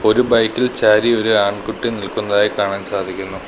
ഒരു ബൈക്ക് ഇൽ ചാരി ഒര് ആൺകുട്ടി നിൽക്കുന്നതായി കാണാൻ സാധിക്കുന്നു.